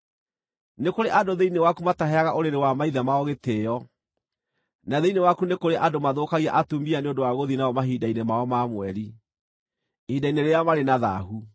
Nĩ kũrĩ andũ thĩinĩ waku mataheaga ũrĩrĩ wa maithe mao gĩtĩĩo; na thĩinĩ waku nĩ kũrĩ andũ mathũkagia atumia nĩ ũndũ wa gũthiĩ nao mahinda-inĩ mao ma mweri, ihinda-inĩ rĩrĩa marĩ na thaahu.